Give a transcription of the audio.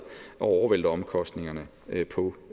at overvælte omkostningerne på